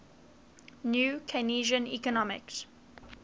new keynesian economics